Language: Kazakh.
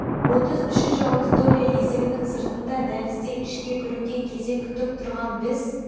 отыз үшінші аудитория есігінің сыртында дәлізде ішке кіруге кезек күтіп тұрған біз